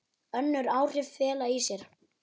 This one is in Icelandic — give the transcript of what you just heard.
Önnur áhrif fela í sér